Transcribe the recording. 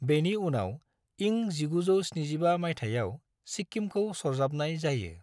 बेनि उनाव इं 1975 माइथायाव सिक्किमखौ सरजाबनाय जायो।